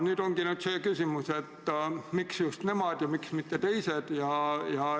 Nüüd ongi mul see küsimus, et miks just nemad ja miks mitte teised.